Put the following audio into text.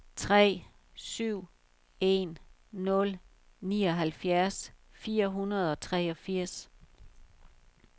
tre syv en nul nioghalvfjerds fire hundrede og treogfirs